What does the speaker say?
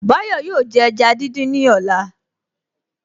Báyọ̀ yóò jẹ ẹja dídín ní ọ̀la